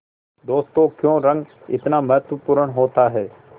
दोस्तों क्यों रंग इतना महत्वपूर्ण होता है